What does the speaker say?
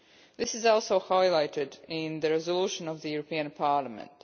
This is also highlighted in the resolution of the European Parliament.